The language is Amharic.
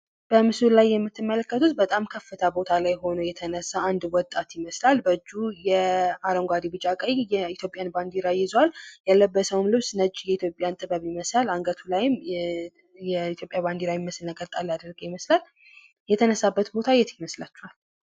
በምስሉ ላይ የምትመለከቱት በጣም ከፍታ ቦታ ላይ ሆኖ የተነሳ አንድ ወጣት ይመስላል። በእጁ አረንጓዴ ቢጫ ቀይ የኢትዮጵያን ባንዲራ ይዟል። የተነሳበት ቦታ የት ይመስላችኋል?